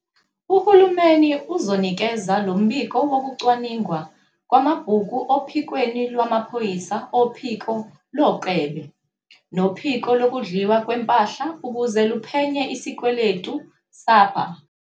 Uhulumeni uzonikeza lo mbiko wokucwaningwa kwamabhuku ophikweni lwamaphoyisa ophiko loKlebe nophiko Lokudliwa Kwempahla ukuze luphenye. - isikweletu Sapa